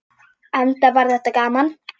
Enda var þetta gaman.